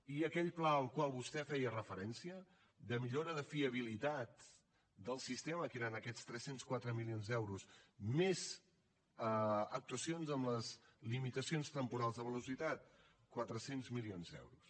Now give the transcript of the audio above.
i aquell pla al qual vostè feia referència de millora de fiabilitat del sistema que eren aquests tres cents i quatre milions d’euros més actuacions en les limitacions temporals de velocitat quatre cents milions d’euros